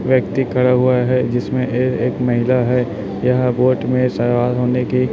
व्यक्ति खरा हुआ है जिसमें ए एक महिला है यह बोट में सवार होने की